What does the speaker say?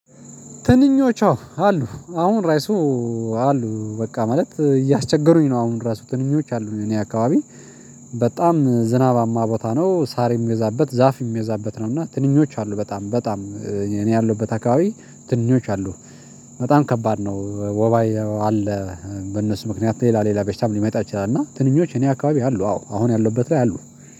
ትንኞች አወ አሉ አሁን ራይሱ አሉ በቃ ማለት እያስቸገሩኝ ነው። አሁን ራሱ ትንኞች አሉ እኔ አካባቢ በጣም ዝናባማ ቦታ ነው ሳር የምወዛበት ዛፍ የምወዛበት ነው። እና ትንኞች አሉ በጣም በጣም እኔ ያለው በታካቢ ትንኞች አሉ በጣም ከባድ ነው። ወባዬ አለ በእነሱ ምክንያት ሌላ ሌላ በሽታም ሊመጣ ይችላል። እና ትንኞች እኔ አካባቢ አሉ አዎ አሁን ያለሁበት ላይ አሉ